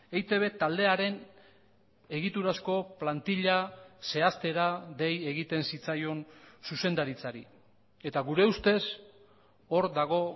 eitb taldearen egiturazko plantila zehaztera dei egiten zitzaion zuzendaritzari eta gure ustez hor dago